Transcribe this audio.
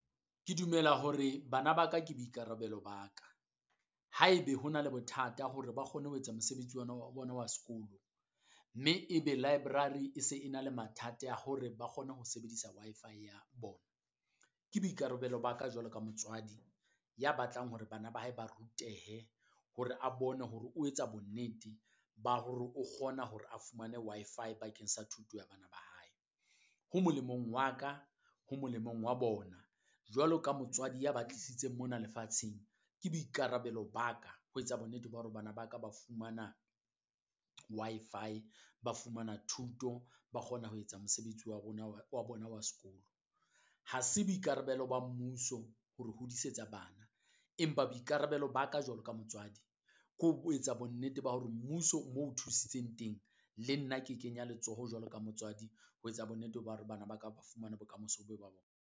Ke dumela hore bana ba ka ke boikarabelo ba ka, haebe ho na le bothata hore ba kgone ho etsa mosebetsi ona wa bona wa sekolo, mme e be library e se e na le mathata a hore ba kgone ho sebedisa Wi-Fi ya bona. Ke boikarabelo ba ka jwalo ka motswadi ya batlang hore bana ba hae ba rutehe hore a bone hore o etsa bonnete ba hore o kgona hore a fumane Wi-Fi bakeng sa thuto ya bana ba hae. Ho molemong wa ka ho molemong wa bona jwalo ka motswadi ya ba tlisitseng mona lefatsheng, ke boikarabelo ba ka ho etsa bonnete ba hore bana ba ka ba fumana Wi-Fi ba fumana thuto, ba kgona ho etsa mosebetsi wa bona wa bona wa sekolo. Ha se boikarabelo ba mmuso ho re hodisetsa bana, empa boikarabelo ba ka jwalo ka motswadi ke ho etsa bonnete ba hore mmuso moo o thusitseng teng, le nna ke kenya letsoho jwalo ka motswadi, ho etsa bonnete ba hore bana ba ka ba fumana bokamoso bo ba bona.